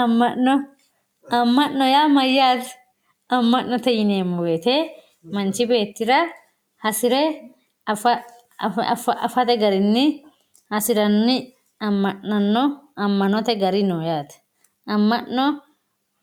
Amano amano ya mayate amanote yinemo woyite manchi betira hasire afate garinni hasirani amanano amono gari no yate amano